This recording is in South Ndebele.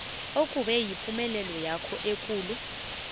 okube yipumelelwakho ekulu